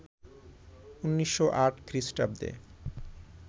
১৯০৮ খ্রীস্টাব্দে